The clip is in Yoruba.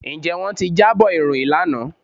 Ǹjẹ́ wọ́n ti jábọ̀ ìròyìn lánàá?